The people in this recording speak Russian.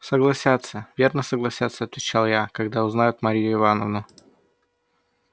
согласятся верно согласятся отвечал я когда узнают марью ивановну